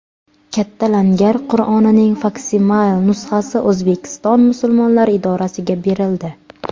Katta Langar Qur’onining faksimile nusxasi O‘zbekiston musulmonlari idorasiga berildi.